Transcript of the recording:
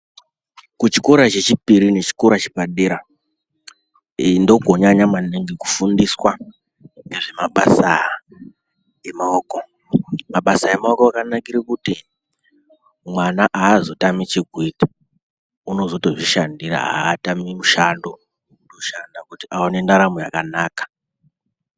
Kuchikora chechipiri nechikora chepadera, ndokonyanya maningi kufundiswa nezvemabasa emaoko. Mabasa emaoko akanakire kuti mwana haazotami chekuita. Unotozozvishandira, haatami mushando, unoshanda kuti awane ntaramo yakanaka.